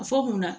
Fɔ munna